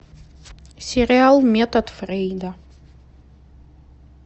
сериал метод фрейда